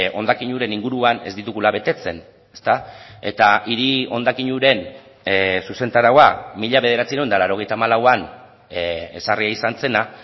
hondakin uren inguruan ez ditugula betetzen ezta eta hiri hondakin uren zuzentaraua mila bederatziehun eta laurogeita hamalauan ezarria izan zena